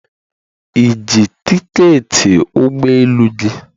Ị ji tiketi ụgbọ elu gị?